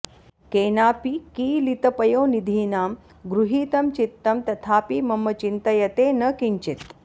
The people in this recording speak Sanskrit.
केनापि कीलितपयोनिधिना गृहीतं चित्तं तथापि मम चिन्तयते न किञ्चित्